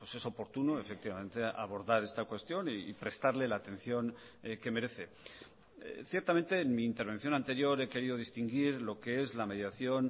es oportuno efectivamente abordar esta cuestión y prestarle la atención que merece ciertamente en mi intervención anterior he querido distinguir lo que es la mediación